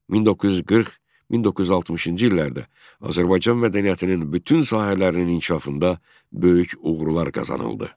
1940-1960-cı illərdə Azərbaycan mədəniyyətinin bütün sahələrinin inkişafında böyük uğurlar qazanıldı.